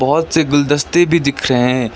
बहौत से गुलदस्ते भी दिख रहे है।